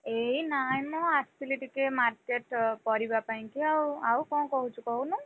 ଏଇ ନାଇଁ ମୁଁ ଆସିଥିଲି ଟିକେ market ପରିବା ପାଇଁ କି ଆଉ, ଆଉ କଣ କହୁଛୁ କହୁନୁ?